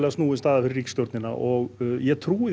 snúin staða fyrir stjórnina og ég trúi